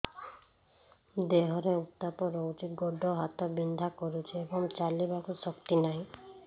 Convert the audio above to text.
ଦେହରେ ଉତାପ ରହୁଛି ଗୋଡ଼ ହାତ ବିନ୍ଧା କରୁଛି ଏବଂ ଚାଲିବାକୁ ଶକ୍ତି ନାହିଁ